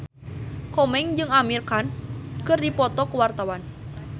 Komeng jeung Amir Khan keur dipoto ku wartawan